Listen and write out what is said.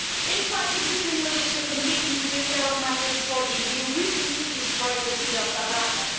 Infighting between militia competing to take care of migrants for the EU recently destroyed the city of Sabratha.